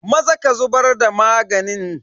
Maza ka zubar da maganin.